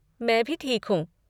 मैं भी ठीक हूँ।